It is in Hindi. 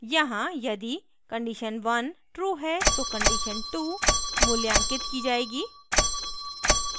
यहाँ यदि condition 1 true है तो condition 2 मूल्यांकित की जाएगी